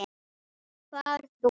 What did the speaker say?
Far þú.